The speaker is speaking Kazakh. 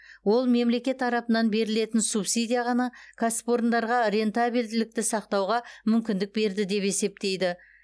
ол мемлекет тарапынан берілетін субсидия ғана кәсіпорындарға рентабельділікті сақтауға мүмкіндік берді деп есептейді